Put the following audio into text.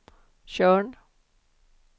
Tjörn